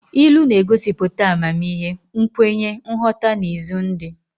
Ilu na-egosiputa amamihe, nkwenye, nghọta na izu ndi.